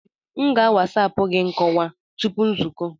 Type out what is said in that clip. M ga a wasapu gị nkọwa tupu nzukọ.